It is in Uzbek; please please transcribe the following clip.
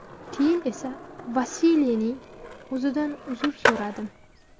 Keyin esa Vasiliyning o‘zidan uzr so‘radim.